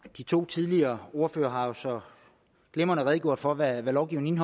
de to tidligere ordførere har jo så glimrende redegjort for hvad lovgivningen